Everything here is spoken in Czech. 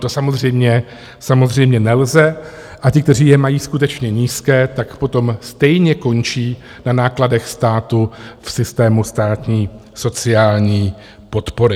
To samozřejmě nelze a ti, kteří je mají skutečně nízké, tak potom stejně končí na nákladech státu v systému státní sociální podpory.